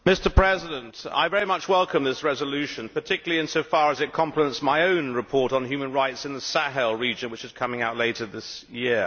Mr President, I very much welcome this resolution, particularly insofar as it complements my own report on human rights in the Sahel region, which is coming out later this year.